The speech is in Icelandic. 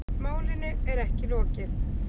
Málinu er ekki lokið